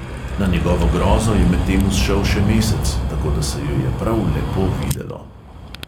Na njegovo grozo je medtem vzšel še mesec, tako da se ju je prav lepo videlo.